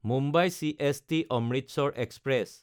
Mumbai চিএছটি–অমৃতসৰ express